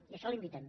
i a això l’invitem